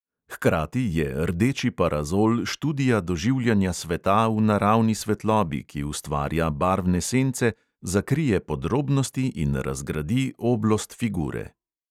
Hkrati je rdeči parazol študija doživljanja sveta v naravni svetlobi, ki ustvarja barvne sence, zakrije podrobnosti in razgradi oblost figure.